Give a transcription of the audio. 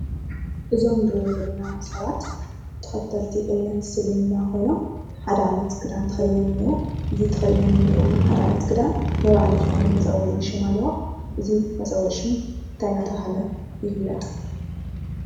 እዞም ንሪኦም ዘለና ሰባት ተኸተልቲ እምነት እስልምና ኾይኖም፣ ሓደ ዓይነት ክዳን ተኸዲኖም እኔአው ሓደ ዓይነት ክዳን ነይባዕሉ ዝኾነ መፀውዒ ሽም ኣለዎ፡፡ እዚ መጸዊዒ ሹም ታይ እናተሃለ ይፍለጠ?